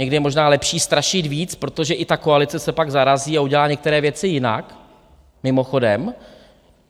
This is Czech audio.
Někdy je možná lepší strašit víc, protože i ta koalice se pak zarazí a udělá některé věci jinak, mimochodem.